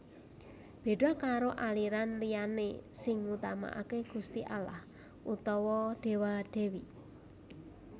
Béda karo aliran liyané sing ngutamakaké Gusti Allah utawa Déwa Dèwi